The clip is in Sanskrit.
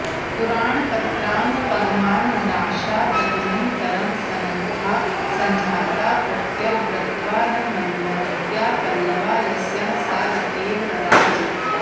पुराणपत्रामपगमान्नाशादनन्तरं संनद्धाः संजाताः प्रत्यग्रत्वान्मनोज्ञाः पल्लवा यस्याः सा लतेव रराज